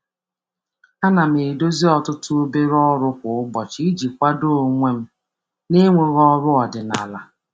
Ana m edozi ọtụtụ obere ọrụ kwa ụbọchị iji kwado onwe m na-enweghị ọrụ ọdịnala.